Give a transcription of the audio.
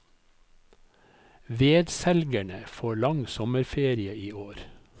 Vedselgerne får lang sommerferie i år.